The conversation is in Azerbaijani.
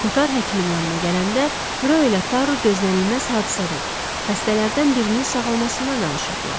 Kotar həkimin yanına gələndə, Röy və Taru gözlənilməz hadisədən, xəstələrdən birinin sağalmasından danışırdılar.